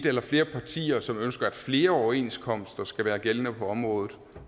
eller flere partier som ønsker at flere overenskomster skal være gældende på området